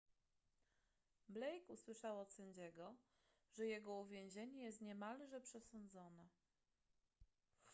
blake usłyszał od sędziego że jego uwięzienie jest niemalże przesądzone